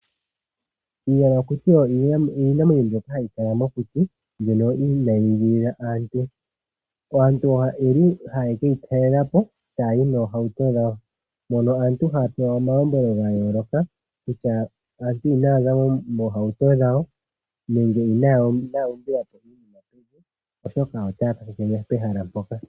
Iiyamakuti oyo iinamwenyo mbyoka hayi kala mokuti, mbyono inaa yi igilila aantu. Aantu oyeli haye ke yi talela po, taya yi noohauto dhawo, ndhono aantu haya pewa omalombwelo ga yooloka kutya inaya zamo moohauto dhawo nenge inaya umbila po iinima pevi oshoka otaya kakeke pehala mpoka.